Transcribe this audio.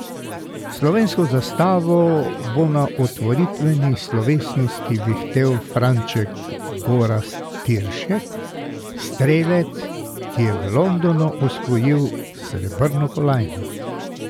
Slovensko zastavo bo na otvoritveni slovesnosti vihtel Franček Gorazd Tiršek, strelec, ki je v Londonu osvojil srebrno kolajno.